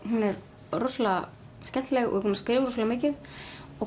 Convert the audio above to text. hún er rosalega skemmtileg og búin að skrifa rosalega mikið og